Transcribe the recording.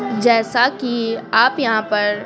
जैसा कि आप यहाँ पर--